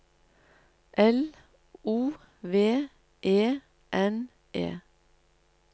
L O V E N E